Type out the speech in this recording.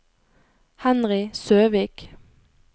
Henry Søvik